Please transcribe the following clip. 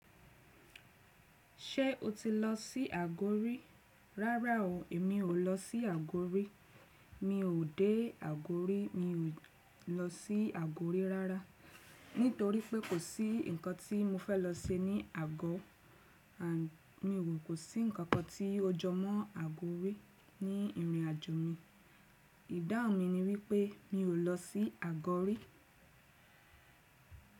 Ṣé o ti lọ sí Àgó rí? Rárá o, èmi ò lọ sí Àgó rí. Mi ò dé Àgórí, mi ò lọ sí Àgórí rárá. Nítorí pé kò sí nǹkan tí mo fẹ́ lọ se ní Àgọ. À, mì o kò sí nǹkan kan tí ó jọmọ́ Àgó rí ní ìrìnàjò mi. Ìdáhun mi ni wípé mi ò lọ sí Àgọ rí.